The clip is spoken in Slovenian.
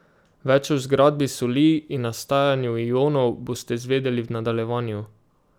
Več o zgradbi soli in nastajanju ionov boste izvedeli v nadaljevanju.